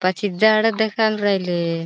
पाछी झाड़ देखाई न रायले.